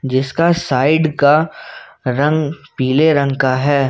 जिसका साइड का रंग पीले रंग का है।